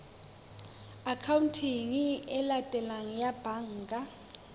akhaonteng e latelang ya banka